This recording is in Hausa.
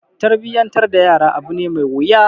Tarbiyyantar da yara abu ne mai wuya.